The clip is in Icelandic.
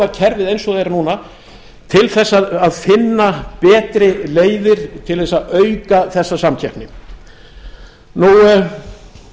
kerfið eins og það er núna til þess að finna betri leiðir til þess að auka þessa samkeppni frú